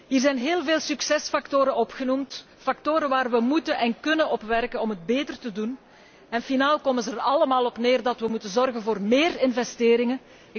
Hier zijn heel veel succesfactoren opgenoemd, factoren waarmee wij kunnen en moeten werken om het beter te doen en finaal komen zij er allemaal op neer dat wij moeten zorgen voor meer investeringen.